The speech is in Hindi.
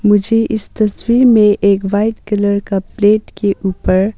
मुझे इस तस्वीर में एक वाइट कलर का प्लेट के ऊपर--